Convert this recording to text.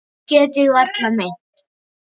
Það get ég varla meint.